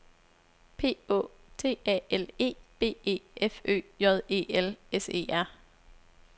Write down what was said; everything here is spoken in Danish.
P Å T A L E B E F Ø J E L S E R